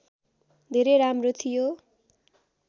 धेरै राम्रो थियो